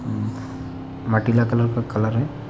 उम्म माटिला कलर का कलर है।